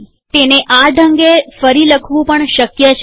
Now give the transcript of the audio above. તેને આ ઢંગે ફરી લખવું પણ શક્ય છે